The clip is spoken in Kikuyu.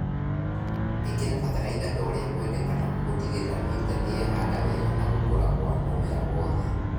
Ĩkĩra bataraitha torĩa kwendekana gutigĩrĩra mĩrita niyehanda wega na gũkũra gwa mũmera wothe